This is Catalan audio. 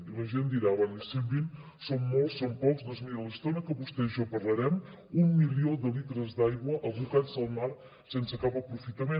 i la gent dirà bé cent vint són molts són pocs doncs miri l’estona que vostè i jo parlarem un milió de litres d’aigua abocats al mar sense cap aprofitament